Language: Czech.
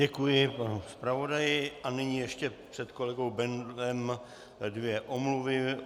Děkuji panu zpravodaji a nyní ještě před kolegou Bendlem dvě omluvy.